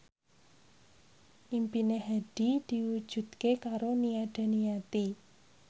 impine Hadi diwujudke karo Nia Daniati